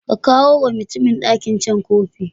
Ka kawuwa mutumin ɗakin can kofi.